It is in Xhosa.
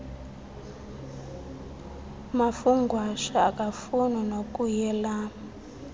mafungwashe akafuni nokuyelam